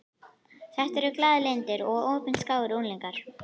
Þetta eru glaðlyndir og opinskáir unglingar.